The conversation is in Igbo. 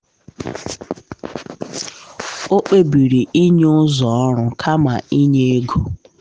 o kpebiri inye ụzọ ọrụ kama inye ego.